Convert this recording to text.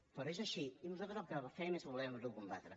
però és així i nosaltres el que fem és volerho combatre